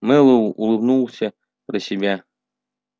мэллоу улыбнулся про себя